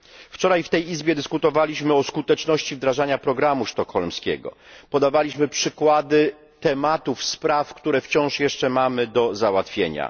Wczoraj w tej Izbie dyskutowaliśmy o skuteczności wdrażania programu sztokholmskiego, podawaliśmy przykłady tematów spraw, które wciąż jeszcze mamy do załatwienia.